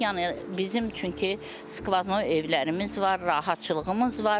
Yəni bizim çünki skvano evlərimiz var, rahatçılığımız var.